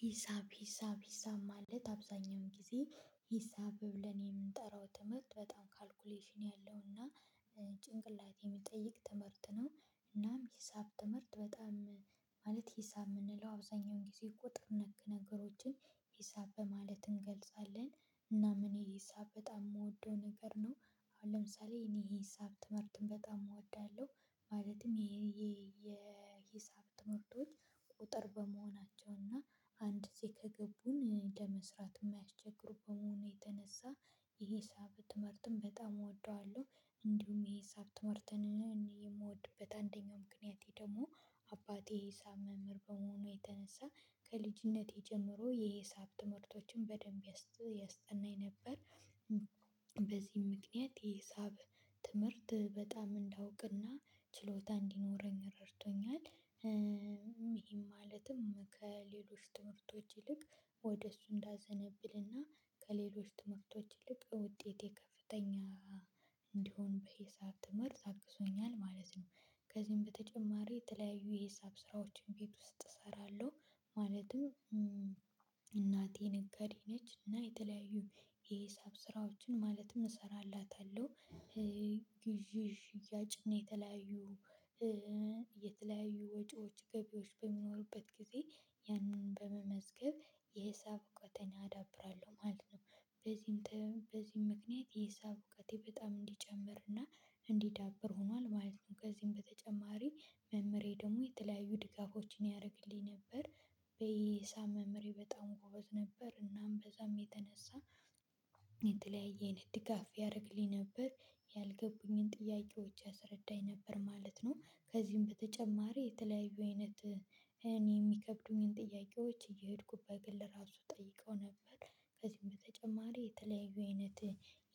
ሂሳብ ሂሳብ ሂሳብ ማለት አብዛኛውን ጊዜ ሂሳብ ብለን የምንጠራው ትምህርት በጣም ካልኩሌሽን ያለውና ጭንቅላት የሚጠይቅ ትምህርት ነው። እናም ሂሳብ ትምህርት በጣም ማለት ሂሳብ የምንለው አብዛኛውን ጊዜ ቁጥር ነክ ነገሮችን ሂሳብ በማለት እንገልጻለን። እና እኔ ሂሳብ በጣም የምወደው ነገር ነው። አሁን ለምሳሌ እኔ ዬሂሳብ ትምህርትን በጣም እወዳለሁ። ማለትም ይሄ የሂሳብ ትምህርቶች ቁጥር በመሆናቸው እና አንድ ዜ ከገቡን ለመስራት የማያስቸግሩ በመሆኑ የተነሳ የሄሳብ ትምህርትም በጣም እወደዋለሁ። እንዲሁም የሂሳብ ትምህርትን የምወድበት አንደኛው ምክንያቴ ደግሞ አባቴ የሂሳብ መምህር በመሆኑ የተነሳ ከልጅነቴ ጀምሮ የሄሳብ ትምህርቶችን በደንብ ያስጠናኝ ነበር። በዚህም ምክንያት የሂሳብ ትምህርት በጣም እንዳውቅና ችሎታ እንዲኖረኝ ረድቶኛል። ይሄም ማለትም ከሌሎች ትምህርቶች ይልቅ ወደ እሱ እንዳዘነብል እና ከሌሎች ትምህርቶች ይልቅ ውጤቴ ከፍተኛ እንዲሆን የሂሳብ ትምርት አግዞኛል ማለት ነው። ከዚህም በተጨማሪ የተለያዩ የሂሳብ ስራዎችን ቤት ውስጥ እሰራለሁ። ማለትም እናቴን ነጋዴ ነች እና የተለያዩ የሂሳብ ስራዎችን ማለትም እሰራላታለሁ። ግዢዥ ሽያጭና የተለያዩ የተለያዩ ወጪዎች ገቢዎች በሚኖሩበት ጊዜ ያንን በመመዝገብ የሂሳብ እውቀቴን አዳብራለሁ ማለት ነው። በዚህም ምክንያት የሂሳብ እውቀቴ በጣም እንዲጨምርና እንዲዳብር ሆኗል ማለት ነው። ከዚህም በተጨማሪ መምህሬ ደግሞ የተለያዩ ድጋፎችን ያረግልኝ ነበር። የይሳብ መምህሬ በጣም ጎበዝ ነበር እናም በዛም የተነሳ የተለየ አይነት ድጋፍ ያረግልኝ ነበር። ያልገቡኝን ጥያቄዎች አስረዳኝ ነበር ማለት ነው። ከዚህም በተጨማሪ የተለያዩ አይነት እኔ ሚከብዱኝን ጥያቄዎች እየሄድኩ በግል ለራሱ ጠይቀው ነበር። ከዚህም በተጨማሪ የተለያዩ አይነት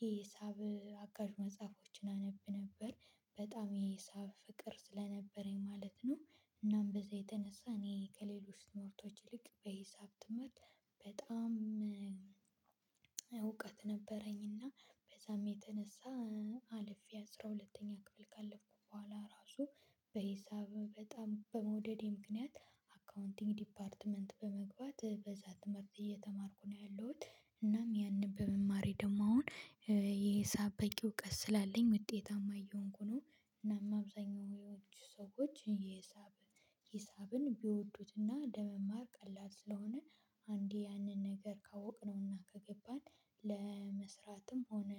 የሂሳብ አጋዥ መጽሐፎችን አነብ ነበር። በጣም የሂሳብ ፍቅር ስለነበረኝ ማለት ነው። እናም በዛ የተነሳ እኔ ከሌሎች ትምህርቶች ይልቅ በሂሳብ ትምህርት በጣም እውቀት ነበረኝና በዛም የተነሳ አልፌ አስራ ሁለተኛ ክፍል ካለፍኩ በኋላ ራሱ በሂሳብ በጣም በመውደዴ ምክንያት አካውንቲንግ ዲፓርትመንት በመግባት በዛ ትምህርት እየተማርኩ ነው ያለሁት እናም ያንን በመማሬ ደግሞ አሁን የሂሳብ በቂ እውቀት ስላለኝ ውጤታማ እየሆንኩ ነው። እናም አብዛኛው ሰዎች የሂሳብ ሂሳብን ቢወዱትና ለመማር ቀላል ስለሆነ አንዴ ያንን ነገር ካወቅነዉና ከገባን ለመስራትም ሆነ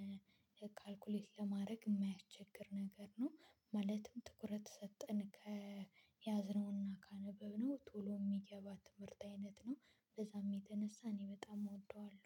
ካልኩሌት ለማረግ የማያስቸግር ነገር ነው። ማለትም ትኩረት ሰጠን ከያዝነዉና ካነበብነው ቶሎ ሚገባ ትምርት አይነት ነው። በዛም የተነሳ እኔ በጣም እወደዋለሁ።